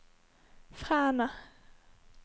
Fræna